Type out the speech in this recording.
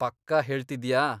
ಪಕ್ಕಾ ಹೇಳ್ತಿದ್ಯಾ?